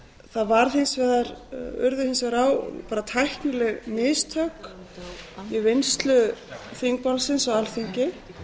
það urðu hins vegar tæknileg mistök í vinnslu þingmálsins á alþingi en